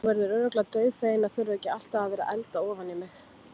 Hún verður örugglega dauðfegin að þurfa ekki alltaf að vera að elda ofan í mig.